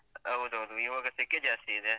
ಹೌದ್ ಹೌದು ಇವಾಗ ಸೆಖೆ ಜಾಸ್ತಿ ಇದೆ.